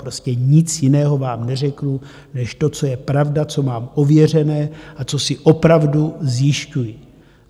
Prostě nic jiného vám neřeknu než to, co je pravda, co mám ověřené a co si opravdu zjišťuji.